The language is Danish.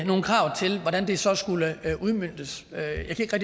nogle krav til hvordan det så skulle udmøntes jeg kan